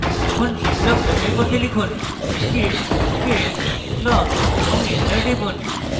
এখন git log যাচাই করতে লিখুন git space log এবং enter টিপুন